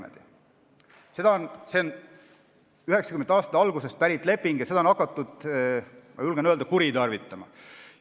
See on 1990. aastate algusest pärit leping ja seda on hakatud, ma julgen öelda, kuritarvitama.